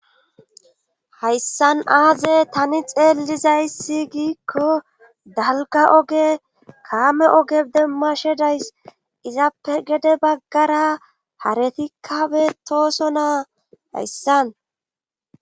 Hayssan aaze tani xeellizayssi giikko dalga oge kaame oge demma shedays izappe gede baggara haretikkabe tooso naa hayssan